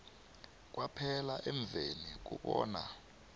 kwaphela emveni kobana